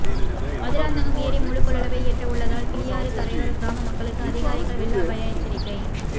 மதுராந்தகம் ஏரி முழு கொள்ளளவை எட்ட உள்ளதால் கிளியாறு கரையோர கிராம மக்களுக்கு அதிகாரிகள் வெள்ள அபாய எச்சரிக்கை